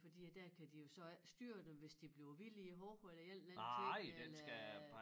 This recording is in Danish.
Fordi at der kan de jo så ikke styre dem hvis de bliver vilde hårde eller en eller anden ting eller øh